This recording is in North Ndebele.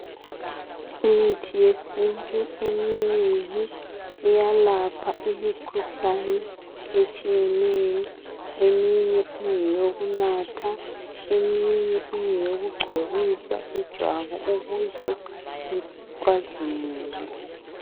Imithi yesintu eminengi iyelapha imikhuhlane etshiyeneyo. Eminye ngeyokunatha eminye ngeyokugcoba ijwabu ukuze licazimule.